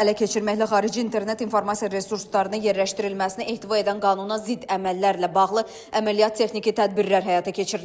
ələ keçirməklə xarici internet informasiya resurslarını yerləşdirilməsinə etiqad edən qanuna zidd əməllərlə bağlı əməliyyat texniki tədbirlər həyata keçirilib.